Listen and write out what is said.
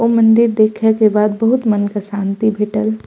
ओ मंदिर देखे के बाद बहुत मन के शांति भेटल।